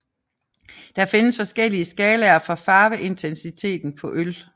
Der findes forskellige skalaer for farveintensiteten på øl